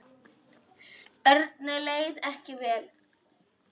Erni leið ekki vel.